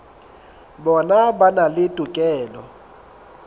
bona ba na le tokelo